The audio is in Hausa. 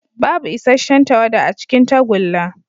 Babu isasshen tawada a cikin tagulla.